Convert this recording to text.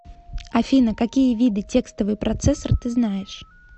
афина какие виды текстовый процессор ты знаешь